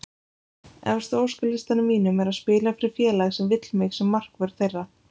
Efst á óskalistanum mínum er að spila fyrir félag sem vill mig sem markvörð þeirra.